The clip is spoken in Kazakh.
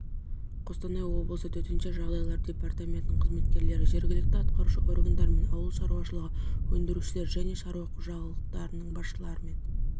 қостанай облысы төтенше жағдайлар департаментінің қызметкерлері жергілікті атқарушы органдармен ауыл шарушылығы өңдірушілері және шаруа қожалықтарының басшыларымен